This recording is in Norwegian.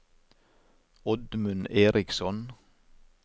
Oddmund Eriksson